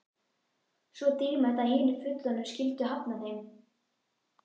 Svo dýrmætt að hinir fullorðnu skyldu hafna þeim.